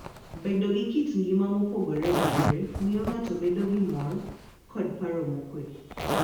Bedo gi kit ngima mopogore opogore miyo ng'ato bedo gi mor kod paro mokuwe.